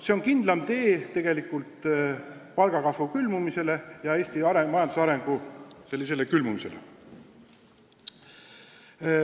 See on kindlam tee palgakasvu külmumisele ja Eesti majandusarengu külmumisele.